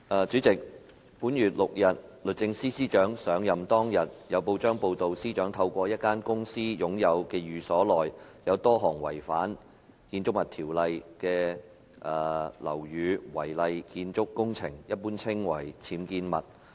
主席，本月6日律政司司長上任當天，有報章報道司長透過一間公司擁有的寓所內，有多項違反《建築物條例》的樓宇違例建築工程。